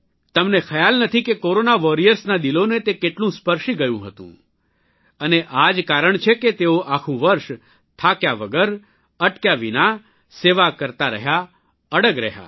તમને ખ્યાલ નથી કે કોરોના વોરિયર્સના દિલોને તે કેટલું સ્પર્શી ગ્યું હતું અને આજ કારણ છે કે તેઓ આખું વરસ થાક્યા વગર અટક્યા વિના સેવા કરતા રહ્યા અડગ રગ્યા